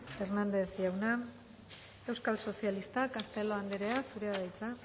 hernandez jauna euskal sozialistak castelo andrea zurea da hitza